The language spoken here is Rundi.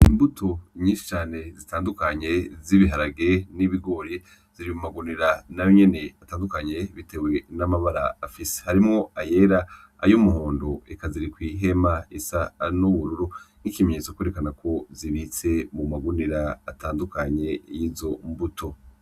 Imbuto nyinshi cane zitandukanye z’ibiharage n’ibigori ziri mu magunira nayo nyene atandukanye bitewe n’amabara afise . Harimwo ayera , ay’umuhondo eka ziri kw’ihema isa n’ubururu nk’ikimenyetso kwerekana yuko zibitse mu magunira atandukanye yizo mbuto.